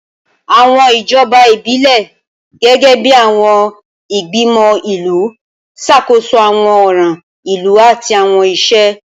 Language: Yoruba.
Awọn ijọba ibilẹ, gẹgẹbi awọn igbimọ ilu, ṣakoso awọn ọran ilu ati awọn iṣẹ.